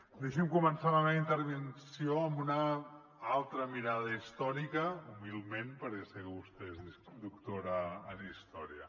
deixi’m començar la meva intervenció amb una altra mirada històrica humilment perquè sé que vostè és doctora en història